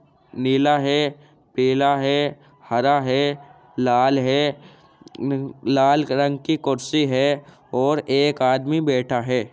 नीला है पीला है हरा है लाल है मम्म लाल कलंग की कुर्सी है और एक आदमी बैठा है।